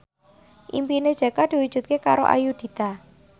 impine Jaka diwujudke karo Ayudhita